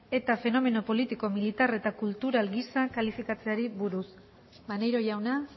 eta fenomeno politiko militar eta kultural gisa kalifikatzeari buruz maneiro jauna